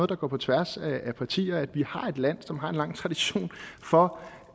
der går på tværs af partier for vi har et land som har en lang tradition for